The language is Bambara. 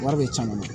Wari bɛ can ne bolo